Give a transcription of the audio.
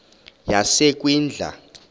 yasekwindla